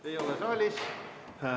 Ei ole saalis.